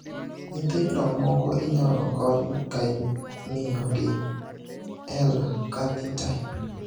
Nyithindo moko inyalo kony kaimiyogi L Carnitine.